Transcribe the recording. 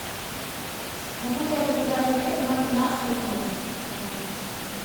могу ли я заказать обед на тринадцать ноль ноль в номер